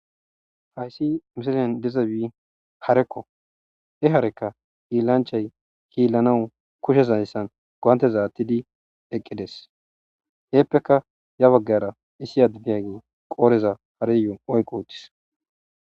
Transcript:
Hayssi misilen dizayssi hareko, ha hareka hiilanchchay hiilanas kushezan gonteza aaththi eqqides eepeka ya baggara diza addezi qoodhdheza oyki utis